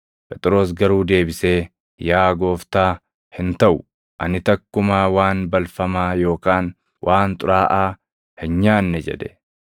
Phexros garuu deebisee, “Yaa Gooftaa, hin taʼu! Ani takkumaa waan balfamaa yookaan waan xuraaʼaa hin nyaanne” jedhe.